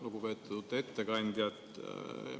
Lugupeetud ettekandja!